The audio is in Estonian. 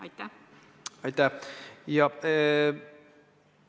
Aitäh!